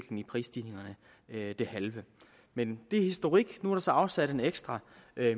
prisstigningerne det halve men det er historik nu er der så afsat en ekstra